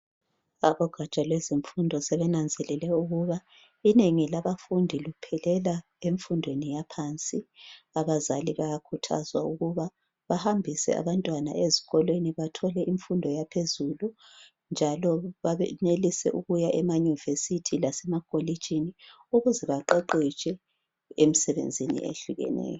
abogatsha lwemfundo sebenanzelele ukuba inengi labafundi luphelela emfundweni yaphansi abazali bayakhuthazwa ukuba bahambise abantwana ezikolweni bathole imfundo yaphezulu njalo benelise ukuya ema university lasemakolitshini ukuze baqeqetshe emsebenzini ehlukeneyo